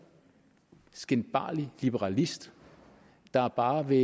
skinbarlig liberalist der bare vil